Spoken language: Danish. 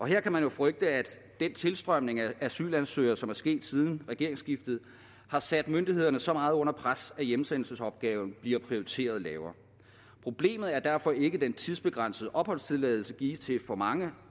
her kan man jo frygte at den tilstrømning af asylansøgere som er sket siden regeringsskiftet har sat myndighederne så meget under pres at hjemsendelsesopgaven bliver prioriteret lavere problemet er derfor ikke at den tidsbegrænsede opholdstilladelse gives til for mange